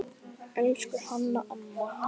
Elsku Hanna amma.